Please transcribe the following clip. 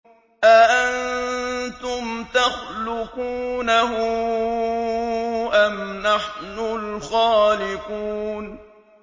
أَأَنتُمْ تَخْلُقُونَهُ أَمْ نَحْنُ الْخَالِقُونَ